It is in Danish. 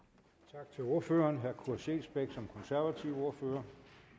tak til ordføreren herre kurt scheelsbeck som konservativ ordfører